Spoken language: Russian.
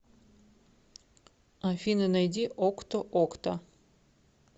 афина найди окто окта